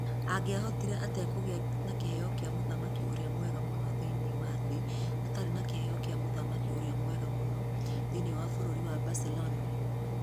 Angĩahotire atĩa kũgĩa na kĩheo kĩa mũthaki ũrĩa mwega mũno thĩinĩ wa thĩ atarĩ na kĩheo kĩa muthaki ũrĩa mwega mũno thĩinĩ wa Bũrũri wa Barcelona?